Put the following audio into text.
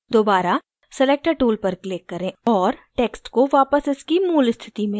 दोबारा selector tool पर click करें और text को वापस इसकी tool स्थिति में लाएँ